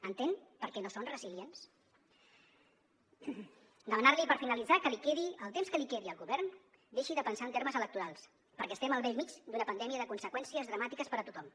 entén perquè no són resilients demanar li per finalitzar que li quedi el temps que li quedi al govern deixi de pensar en termes electorals perquè estem al bell mig d’una pandèmia de conseqüències dramàtiques per a tothom